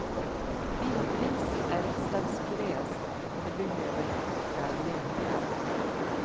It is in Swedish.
Vildris är ett slags gräs och det behöver koka länge.